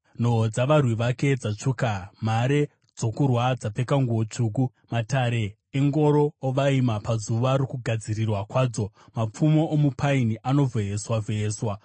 Nhoo dzavarwi vake dzatsvuka; mhare dzokurwa dzapfeka nguo tsvuku. Matare engoro ovaima pazuva rokugadzirirwa kwadzo; mapfumo omupaini anovheyeswa-vheyeswa.